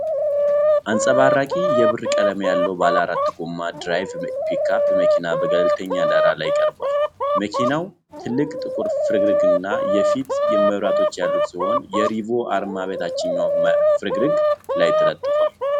አንጸባራቂ የብር ቀለም ያለው ባለአራት ጎማ ድራይቭ ፒክአፕ መኪና በገለልተኛ ዳራ ላይ ቀርቧል። መኪናው ትልቅ ጥቁር ፍርግርግና የፊት መብራቶች ያሉት ሲሆን የ Revo አርማ በታችኛው ፍርግርግ ላይ ተለጥፏል።